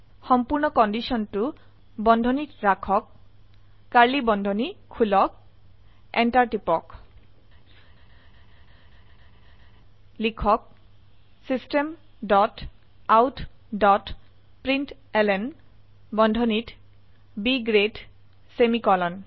সম্পূৰ্ণ কন্ডিশন বন্ধনীত ৰাখক কাৰ্ড়লী বন্ধনী খুলক enter টিপক লিখক system dot out dot println বন্ধনীত B গ্ৰেড সেমিকোলন